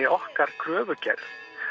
okkar kröfugerð